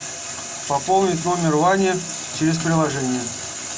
пополнить номер вани через приложение